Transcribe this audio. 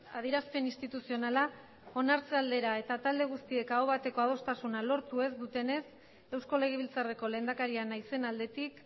adierazpen instituzionala onartze aldera eta talde guztiek aho bateko adostasuna lortu ez dutenez eusko legebiltzarreko lehendakaria naizen aldetik